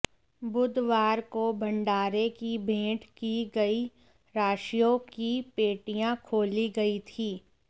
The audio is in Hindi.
बुधवार को भंडारे की भेंट की गई राशियों की पेटियां खोली गई थीं